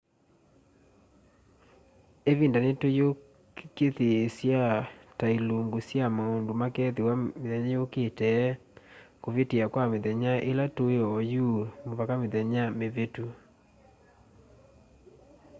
ivinda ni tuyikusiiya ta ilingu sya maundu makethiwa mithenya yukite kuvitia kwa mithenya ila tui ooyu muvaka mithenya mivitu